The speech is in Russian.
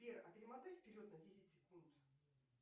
сбер а перемотай вперед на десять секунд